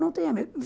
Não tenha medo.